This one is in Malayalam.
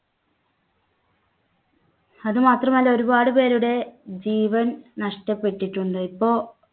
അതുമാത്രമല്ല ഒരുപാട് പേരുടെ ജീവൻ നഷ്ടപ്പെട്ടിട്ടുണ്ട്. ഇപ്പോ